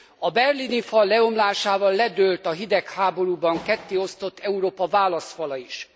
A berlini fal leomlásával ledőlt a hidegháborúban kettéosztott Európa válaszfala is.